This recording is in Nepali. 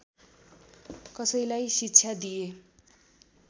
कसैलाई शिक्षा दिएँ